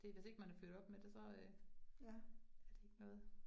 Det hvis ikke man er født op med det så øh er det ikke noget